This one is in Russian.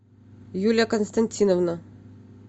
юлия константиновна